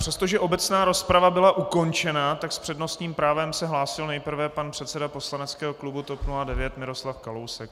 Přestože obecná rozprava byla ukončena, tak s přednostním právem se hlásil nejprve pan předseda poslaneckého klubu TOP 09 Miroslav Kalousek.